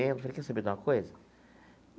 falei, quer saber de uma coisa?